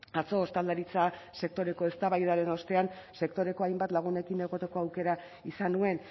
atzo ostalaritza sektoreko eztabaidaren ostean sektoreko hainbat lagunekin egoteko aukera izan nuen